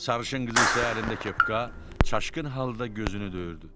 Sarışınqız isə əlində kepka çaşqın halda gözünü döyürdü.